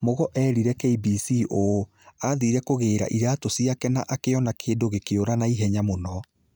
Mugo eerire KBC ũũ: "Aathiire kũgĩĩra iraatũ ciake na akĩona kĩndũ gĩkiura na ivenya mũno".